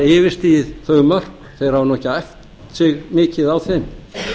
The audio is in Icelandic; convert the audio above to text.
yfirstigið þau mörk þeir hafa nú ekki æft sig mikið á þeim